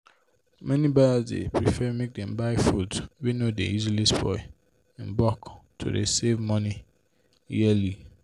many buyers dey prefer make them buy foods wey no dey easily spoil in bulk to dey save money yearly